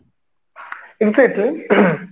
ing